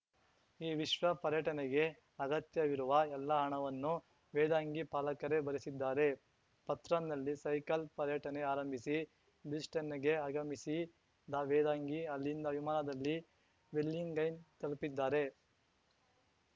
ಈ ವಿಶ್ವ ಪರ್ಯಟನೆಗೆ ಅಗತ್ಯವಿರುವ ಎಲ್ಲ ಹಣವನ್ನು ವೇದಾಂಗಿ ಪಾಲಕರೇ ಭರಿಸಿದ್ದಾರೆ ಪತ್‌ರ್‍ನಲ್ಲಿ ಸೈಕಲ್‌ ಪರ್ಯಟನೆ ಆರಂಭಿಸಿ ಬ್ರಿಸ್ಬೇನ್‌ಗೆ ಆಗಮಿಸಿ ವೇದಾಂಗಿ ಅಲ್ಲಿಂದ ವಿಮಾನದಲ್ಲಿ ವೆಲ್ಲಿಂಗ್ಡನ್‌ ತಲುಪಿದ್ದಾರೆ